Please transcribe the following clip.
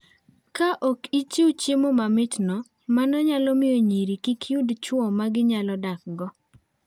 Ka ok ichiwo chiemo ma mitno, mano nyalo miyo nyiri kik yud chwo ma ginyalo dakgo.